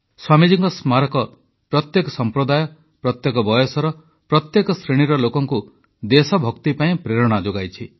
ସ୍ୱାମୀଜୀଙ୍କ ସ୍ମାରକ ପ୍ରତ୍ୟେକ ସମ୍ପ୍ରଦାୟ ପ୍ରତ୍ୟେକ ବୟସର ପ୍ରତ୍ୟେକ ଶ୍ରେଣୀର ଲୋକଙ୍କୁ ଦେଶଭକ୍ତି ପାଇଁ ପ୍ରେରଣା ଯୋଗାଇଛି